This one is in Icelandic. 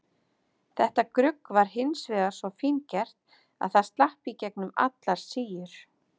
Þetta grugg var hins vegar svo fíngert að það slapp í gegnum allar síur.